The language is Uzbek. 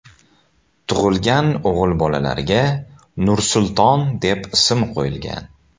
Tug‘ilgan o‘g‘il bolalarga Nursulton deb ism qo‘yilgan.